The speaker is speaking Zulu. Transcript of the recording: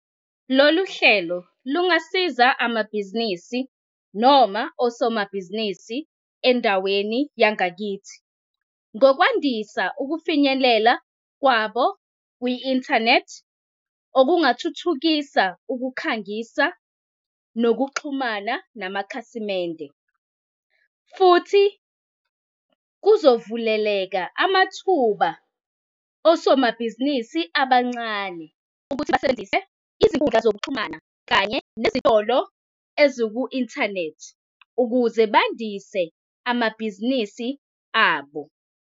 Lolu hlelo lungasiza amabhizinisi noma osomabhizinisi endaweni yangakithi ngokwandisa ukufinyelela kwabo kwi-inthanethi, okungathuthukisa ukukhangisa nokuxhumana namakhasimende. Futhi kuzovuleleka amathuba osomabhizinisi abancane ukuthi basebenzise izinkundla zokuxhumana kanye nezitolo eziku-inthanethi ukuze bandise amabhizinisi abo.